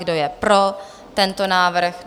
Kdo je pro tento návrh?